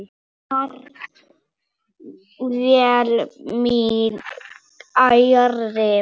Far vel minn kæri.